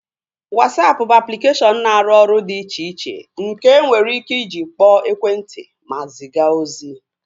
Wasapụ bụ aplikeshọn na-arụ ọrụ dị iche iche nke enwere ike iji kpọọ ekwentị ma ziga ozi